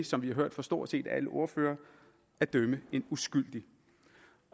som vi har hørt fra stort set alle ordførere at dømme en uskyldig